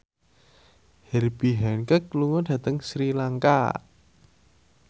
Herbie Hancock lunga dhateng Sri Lanka